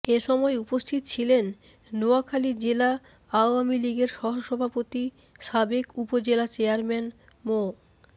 এ সময় উপস্থিত ছিলেন নোয়াখালী জেলা আওয়ামী লীগের সহসভাপতি সাবেক উপজেলা চেয়ারম্যান মো